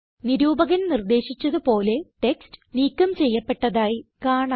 നിരൂപകൻ നിർദ്ദേശിച്ചത് പോലെ ടെക്സ്റ്റ് നീക്കം ചെയ്യപ്പെട്ടതായി കാണാം